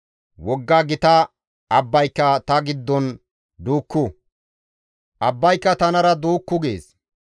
‹Wogga gita abbayka ta giddon duukku; abbayka tanara duukku› gees.